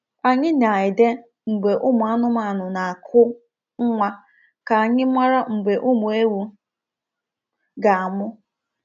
Anyị na-ede mgbe anụmanụ na-akụ nwa ka anyị mara mgbe ụmụ ewu ga-amụ.